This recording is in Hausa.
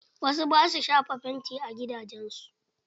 Wasu ba sua shafa fanti a gidajen su.